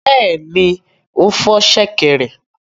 Bẹ́ẹ̀ni, ó fọ́ ṣẹ̀kẹ̀rẹ̀.